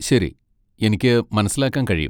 ശരി, എനിക്ക് മനസ്സിലാക്കാൻ കഴിയും.